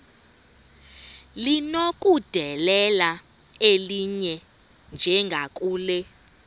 linokudedela elinye njengakule